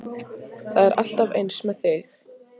Það er alltaf eins með þig!